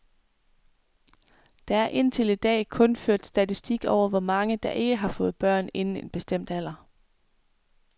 Der er indtil i dag kun ført statistik over, hvor mange der ikke har fået børn inden en bestemt alder.